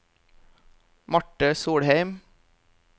Marte Solheim